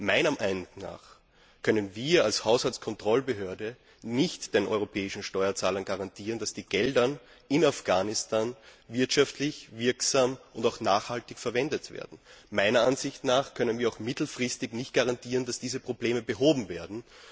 Meiner Meinung nach können wir als Haushaltskontrollbehörde nicht den europäischen Steuerzahlern garantieren, dass die Gelder in Afghanistan wirtschaftlich wirksam und auch nachhaltig verwendet werden. Wir können auch mittelfristig nicht garantieren, dass diese Probleme behoben werden.